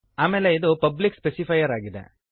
ಆಮೇಲೆ ಇದು public specifier ಆಗಿದೆ